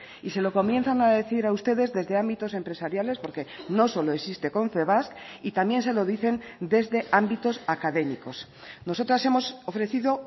y se lo comienzan a decir a ustedes desde ámbitos empresariales porque no solo existe confebask y también se lo dicen desde ámbitos académicos nosotras hemos ofrecido